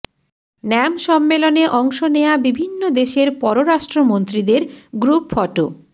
NAM সম্মেলনে অংশ নেয়া বিভিন্ন দেশের পররাষ্ট্রমন্ত্রীদের গ্রুপ ফটো